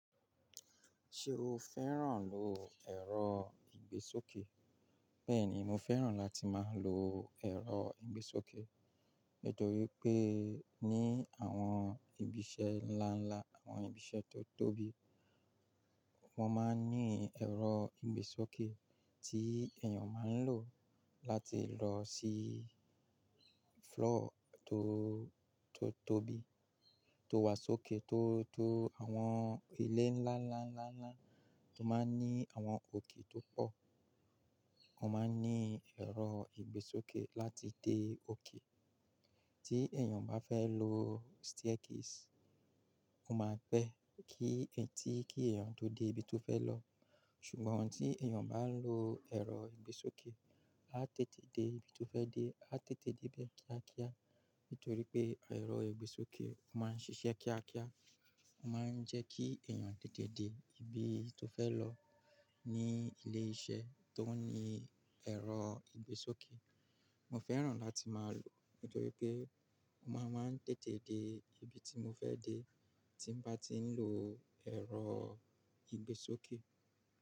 Ṣé o fẹ́ràn lò ẹ̀rọ ìgbésókè? Bẹ́ẹ̀ni, mo fẹ́ràn láti máa lo ẹ̀rọ ìgbésókè. Nítorí pé ní àwọn ibi iṣẹ́ ńlá ńlá, àwọn ibi iṣẹ́ tó tóbi, wọ́n máa ń ní ẹ̀rọ ìgbésókè tí èèyàn máa ń lò láti lọ sí floor tó, tó tóbi, tó wà sókè tó, tó àwọn ilé ńlá ńlá ńlá ńlá tó máa ń ní àwọn òkè tó pọ̀. Wọ́n máa ń ní ẹ̀rọ ìgbésókè láti dé òkè. Tí èèyàn bá fẹ́ lo staircase, ó máa pẹ́ kí-- tí kí èèyàn tó dé ibi tó fẹ́ lọ. Ṣùgbọ́n tí èèyàn bá lo ẹ̀rọ ìgbésókè, á tètè dé ibi tó fẹ́ dé, á tètè dé bẹ kiákíá. Nítorí pé ẹ̀rọ ìgbésókè máa ń ṣiṣẹ́ kiákíá, ó máa ń jẹ́ kí èèyàn tètè dé ibi tó fẹ́ lọ ní ilé iṣẹ́ tó ní ẹ̀rọ ìgbésókè. Mo fẹ́ràn láti máa lò nítorí pé ó máa ń máa tètè dé ibi tí mo fẹ́ dé, tí mo bá ti ń lo ẹ̀rọ ìgbésókè.